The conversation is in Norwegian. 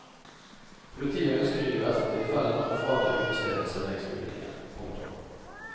Politiet ønsker i de verste tilfellene å frata utestedene serveringsbevillingen. punktum